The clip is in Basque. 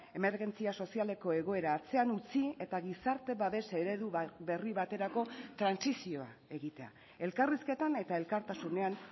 emergentzia sozialeko egoera atzean utzi eta gizarte babes eredu berri baterako trantsizioa egitea elkarrizketan eta elkartasunean